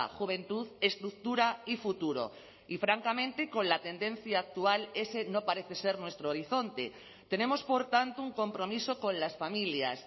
juventud estructura y futuro y francamente con la tendencia actual ese no parece ser nuestro horizonte tenemos por tanto un compromiso con las familias